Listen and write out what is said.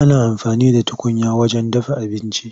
Ana amfani da tukunya wajen dafa abinci.